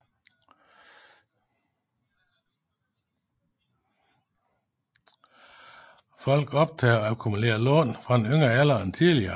Folk optager og akkumulerer lån fra en yngre alder end tidligere